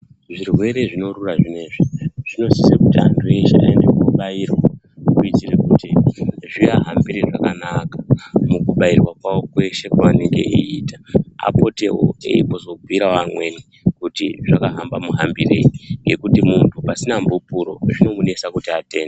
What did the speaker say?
Zvirwere zvinorura zvinezvi zvinosisa kubairwa kuitira kuti zvivahambire zvakanaka mukubairwa kwawo kweshe kwanenge eiita, apotewo eibhira amweni kuti zvakaita muhambirei ngekuti munhtu pasina bupuro zvinomunesa kuti atende.